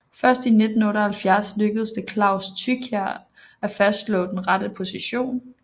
Først i 1978 lykkedes det Claus Thykier at fastslå den rette position